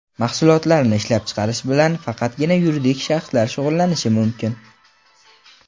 Mahsulotlarni ishlab chiqarish bilan faqatgina yuridik shaxslar shug‘ullanishi mumkin.